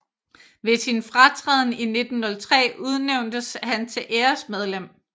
Ved sin fratræden 1903 udnævntes han til æresmedlem